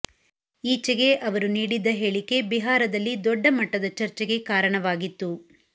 ಈಚೆಗೆ ಅವರು ನೀಡಿದ್ದ ಹೇಳಿಕೆ ಬಿಹಾರದಲ್ಲಿ ದೊಡ್ಡ ಮಟ್ಟದ ಚರ್ಚೆಗೆ ಕಾರಣವಾಗಿತ್ತು